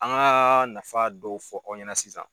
An ka nafa dɔw fɔ ɔw ɲɛna sisan.